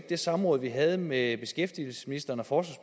det samråd vi havde med beskæftigelsesministeren og